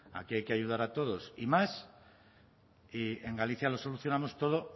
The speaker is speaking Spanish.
aquí hay que ayudar a todos y más y en galicia lo solucionamos todo